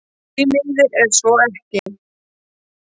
Því miður er svo ekki